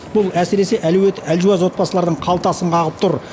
бұл әсіресе әлеуеті әлжуаз отбасылардың қалтасын қағып тұр